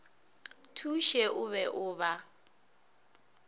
thuše o be o ba